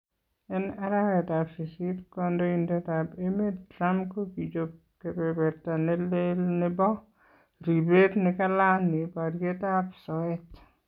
En arawetab sisiit Kandoindetab emeet Trump kokichop kobeberta neleel nebo ribeet nekalaani baryeetab soyeet